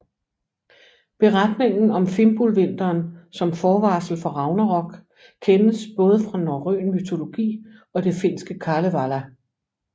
Beretningen om Fimbulvinteren som forvarsel for ragnarok kendes både fra norrøn mytologi og det finske Kalevala